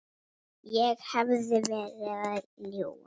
Ég hefði verið að ljúga.